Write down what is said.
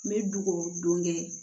N bɛ dukɔ don kɛ